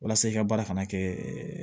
Walasa i ka baara kana kɛ